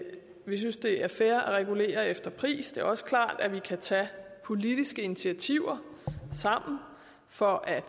vi synes at det er fair at regulere efter pris det er også klart at vi kan tage politiske initiativer sammen for at